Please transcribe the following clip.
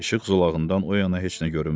İşıq zolağından o yana heç nə görünmürdü.